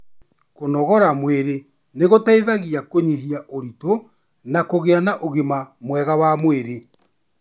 Kũnogora mwĩrĩ nĩ gũteithagia Kũnyihia ũritũ na kũgĩa na ũgima mwega wa mwĩrĩ.